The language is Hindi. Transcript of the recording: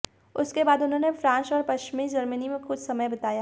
उसके बाद उन्होंने फ्रांस और पश्चिमी जर्मनी में कुछ समय बिताया